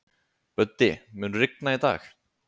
Böddi, mun rigna í dag?